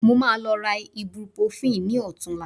Mo máa lọ ra ibuprofen ní ọ̀tunla